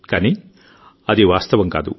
కానీ అది వాస్తవం కాదు